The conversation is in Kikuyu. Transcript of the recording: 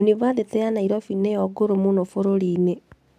Yunibathĩtĩ ya Nairobi nĩyo ngũrũ mũno bũrũri-inĩ